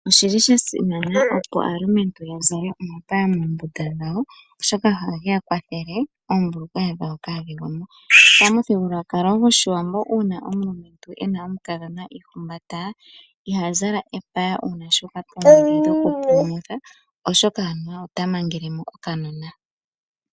Oshi li sha simana opo aalumentu ya zale omapaya moombunda dhawo oshoka ohage ya kwathele oombulukweya dhawo kaa dhigwe mo. Pamuthigululwakalo gwoshiwambo uuna omulumentu e na omukadhona iihumbata, iha zala epaya uuna shu uka poomwedhi dhokupulumutha oshoka anuwa ota mangele mo okanona.